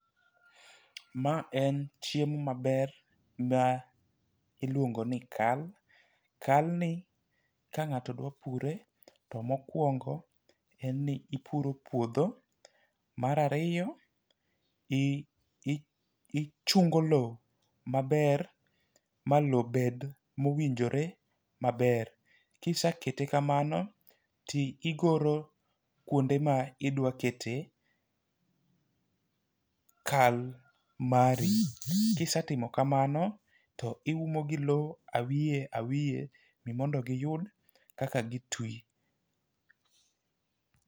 Ma en chiemo maber ma iluongo ni kal. Kal ni kang'ato dwa pure to mokwongo en ni ipuro puodho . Mar ariyo i i ichungo lowo maber malowo bed mowinjore maber .Kisekete kamano , ti igoro kuonde midwa kete kal mari. Kisetimo kamano tiume gi lowo awiye awiye ni mondo giyud kaka gitwi.